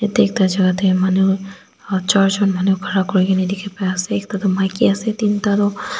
itu ekta jaga te manu charjon manu khara kori kena dekhi pai ase ekta tu maiki ase tin ta to.